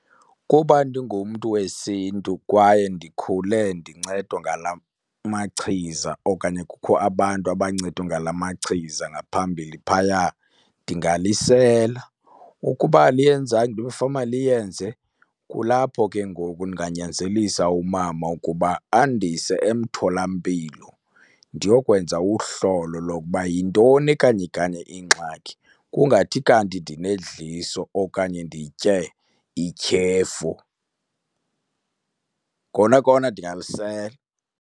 Kuba ndingumntu wesiNtu kwaye ndikhule ndincedwa ngala machiza okanye kukho abantu abancedwa ngala machiza ngaphambili phaya, ndingalisela. Ukuba aliyenzanga into ebekufanele uba liyenze, kulapho ke ngoku ndinganyanzelisa umama ukuba andise emtholampilo ndiyokwenza uhlolo lokuba yintoni kanye kanye ingxaki, kungathi kanti ndinedliso okanye nditye ityhefu. Kona kona ndingalisela.